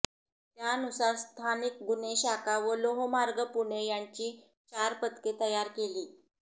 त्यानुसार स्थानिक गुन्हे शाखा व लोहमार्ग पुणे यांची चार पथके तयार केली